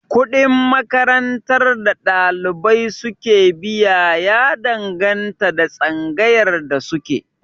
Kuɗin makarantar da ɗalibai su ke biya ya danganta da tsangayar da suke